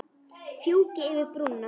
Fjúki yfir brúna.